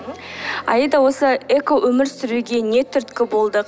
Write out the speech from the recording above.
аида осы экоөмір сүруге не түрткі болды